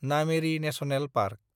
Nameri national park